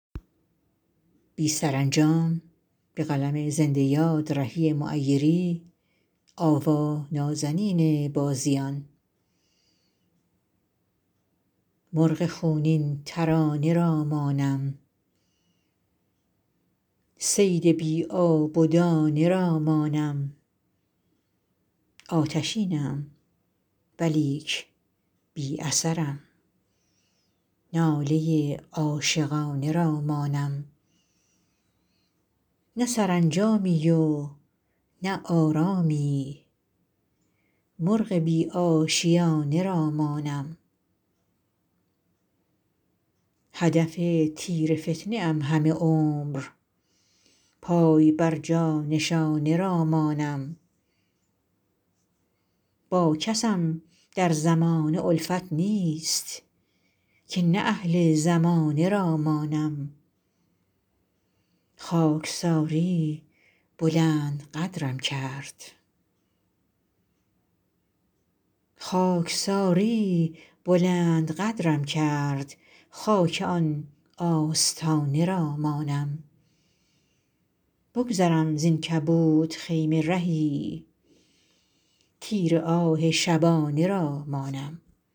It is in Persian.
مرغ خونین ترانه را مانم صید بی آب و دانه را مانم آتشینم ولیک بی اثرم ناله عاشقانه را مانم نه سرانجامی و نه آرامی مرغ بی آشیانه را مانم هدف تیر فتنه ام همه عمر پای بر جا نشانه را مانم با کسم در زمانه الفت نیست که نه اهل زمانه را مانم خاکساری بلند قدرم کرد خاک آن آستانه را مانم بگذرم زین کبود خیمه رهی تیر آه شبانه را مانم